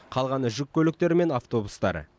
қалғаны жүк көліктері мен автобустар